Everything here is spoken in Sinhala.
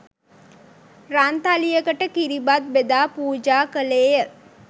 රන්තලියකට කිරිබත් බෙදා පූජා කළේය.